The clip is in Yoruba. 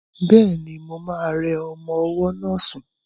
Bẹ́ẹ̀ni, mo ma rẹ ọmọ ọwọ́ náà sún